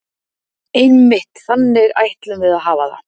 Einmitt, þannig ætlum við að hafa það.